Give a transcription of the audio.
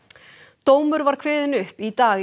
dómur var kveðinn upp í dag í